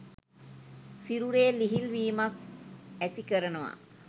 සිරුරේ ලිහිල් වීමක් ඇති කරනවා.